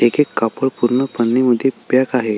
एक एक कापड पूर्ण मध्ये पॅक आहे.